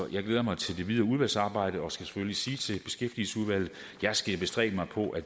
jeg glæder mig til det videre udvalgsarbejde og skal selvfølgelig sige til beskæftigelsesudvalget at jeg skal bestræbe mig på at